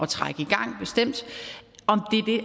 trække i gang bestemt